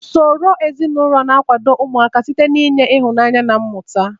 Usoro ezinụlọ na-akwado ụmụaka site n'inye ịhụnanya na mmụta.